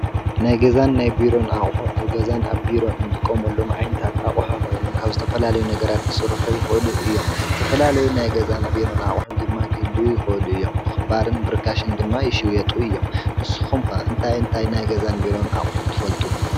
ናይ ገዛን ናይ ቢሮ አቁሑ አብ ገዛን አብ ቢሮ እንጥቀመሎም ዓይነታት አቅሓ ኮይኖም ካብ ዝተፈላለዩ ነገራት ክስርሑ ይክእሉ እዮም። ዝተፈላለዩ ናይ ገዛን ናይ ቢሮ አቁሑ ድማ ክህልው ይክእሉ እዮም። ብክባርን ብርካሽን ድማ ይሽየጡ እዮም። ንስኩም ከ እንታይን እንታይን ናይ ገዛን ናይ ቢሮን አቁሑ ትፈልጡ?